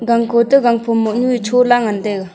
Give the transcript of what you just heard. gang khoto gangphom mohnyu e chola ngan taiga.